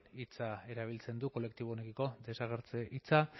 hitza erabiltzen du kolektibo honekiko desagertze hitza